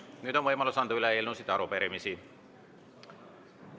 Nüüd on võimalus üle anda eelnõusid ja arupärimisi.